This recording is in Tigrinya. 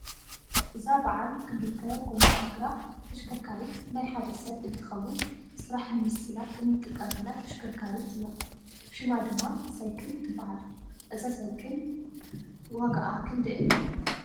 እዛ በዓል ክልተ ጎማ እግራ ተሽከርካሪት ናይ ሓደ ሰብ እንትከውን ስራሕ ንምስላጥ እንጥቀመላ ተሽከርካሪት እያ ። ሽሙማ ድማ ሳይክል ትባሃል። እዛ ሳይክል ጋኣ ክንደይ እያ?